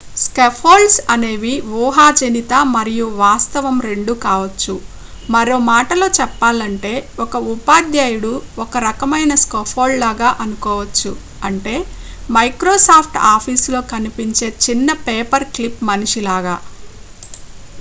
scaffolds అనేవి ఊహాజనిత మరియు వాస్తవం రెండూ కావచ్చు మరో మాటలో చెప్పాలంటే ఒక ఉపాధ్యాయుడు ఒక రకమైన scaffold లాగా అనుకోవచ్చు అంటే microsoft officeలో కనిపించే చిన్నపేపర్ క్లిప్ మనిషి లాగా